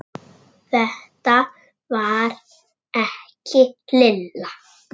Þetta var ekki Lilla.